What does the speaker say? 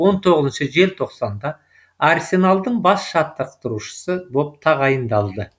он тоғызыншы желтоқсанда арсеналдың бас жаттықтырушысы боп тағайындалды